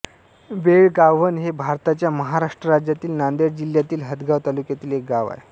बेळगाव्हण हे भारताच्या महाराष्ट्र राज्यातील नांदेड जिल्ह्यातील हदगाव तालुक्यातील एक गाव आहे